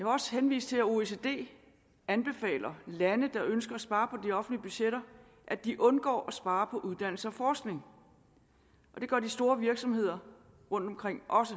også henvise til at oecd anbefaler lande der ønsker at spare på de offentlige budgetter at de undgår at spare på uddannelse og forskning det gør de store virksomheder rundtomkring også